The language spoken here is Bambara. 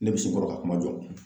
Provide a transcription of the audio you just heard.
Ne bɛ sin kɔrɔ ka kuma jɔ.